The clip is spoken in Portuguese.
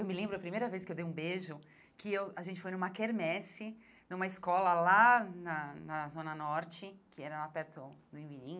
Eu me lembro da primeira vez que eu dei um beijo, que eu a gente foi numa quermesse, numa escola lá na na Zona Norte, que era lá perto do Imirim.